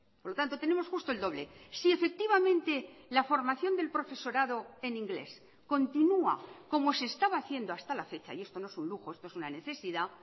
por lo tanto tenemos justo el doble si efectivamente la formación del profesorado en inglés continua como se estaba haciendo hasta la fecha y esto no es un lujo esto es una necesidad